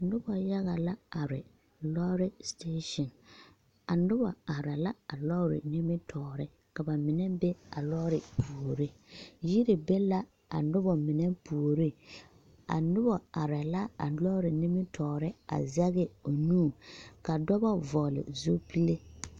Noba yage la are lͻͻre sitaasiŋ. A noba are la a lͻͻre nimitͻͻre, ka ba mine be a lͻͻre puori. Yiri be la a noba mine puoriŋ, a noba arԑԑ la a lͻͻre nimitͻͻre a zԑge o nu. Ka dͻbͻ vͻgele zupile.